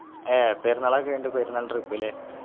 ഏർ പെരുന്നാളൊക്കെ കഴിഞ്ഞിട്ട് പെരുന്നാൾ Trip അല്ലെ